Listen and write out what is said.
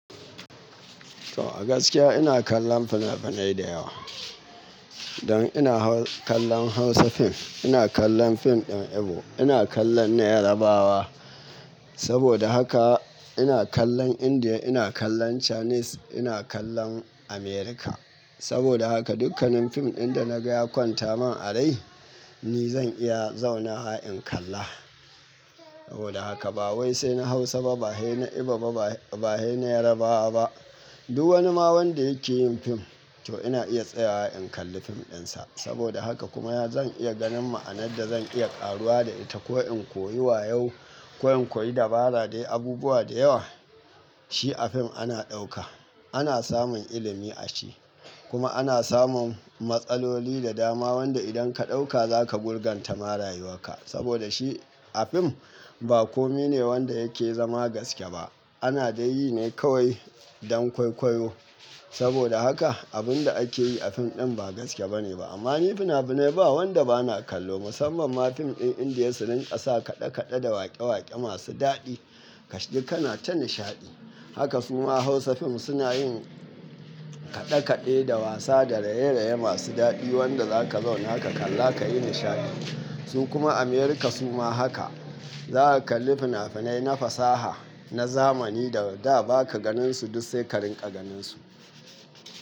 To a gaskiya ina kallon fina-finai da yawa. Don ina kalla Hausa fim, ina kallon fim din Igbo, ina kallon na Yarabawa. Saboda haka ina kallon India, ina kallon Chinese, ina kallon America. Saboda haka dukkanin fim din da naga ya kwanta min a rai ni zan iya zauna wa in kalla. Saboda haka ba wai sai na Hausa ba, ba dai na Igbo ba ba dai na Yarabawa ba. Duk wani ma wanda yake yin fim to ina iya tsayawa in kalli fim din sa. Saboda haka kuma zan iya ganin ma'anar da zan iya karuwa da ita ko in koyi wayo ko in koyi dabara dai abubuwa da yawa. Shi a fim ana ɗauka. Ana samun ilimi a shi. Kuma ana samun matsaloli da dama wanda idan ka ɗauka zaka gurganta marayuwa ka. Saboda shi a fim ba komi ne wanda yake zama gaske ba. Ana dai yi ne kawai don kwaikwayo. Saboda haka abun da ake yi a fim din ba gaske bane ba. Amma ni fina-finai ba wanda bana kallo. Musamman ma fim din India su rinƙasa kaɗe-kaɗe da waƙe-waƙe masu daɗi. Kashi dai kana ta nishaɗi. Haka su ma Hausa fim suna yin kaɗe-kaɗe da wasa da raye-raye masu daɗi wanda za ka zauna haka kalla ka yi nishaɗi. Su kuma America su ma haka. Za ka kalli fina-finai na fasaha, na zamani da da ba ka ganin su duk sai ka rinƙa ganin su.